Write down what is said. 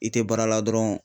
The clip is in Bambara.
I tɛ baara la dɔrɔn